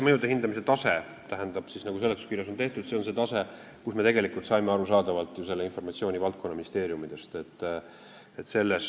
Mõjude hindamise tase, nagu seletuskirjas on öeldud, on see tase, mille kohta me saime arusaadavalt ju informatsiooni valdkonnaministeeriumidest.